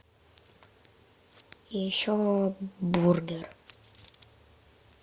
еще бургер